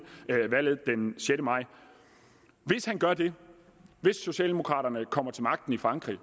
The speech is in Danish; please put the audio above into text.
valget den sjette maj hvis han gør det hvis socialdemokraterne kommer til magten i frankrig